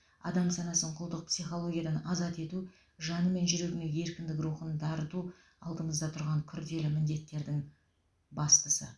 адам санасын құлдық психологиядан азат ету жаны мен жүрегіне еркіндік рухын дарыту алдымызда тұрған күрделі міндеттердің бастысы